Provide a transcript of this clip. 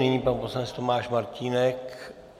Nyní pan poslanec Tomáš Martínek.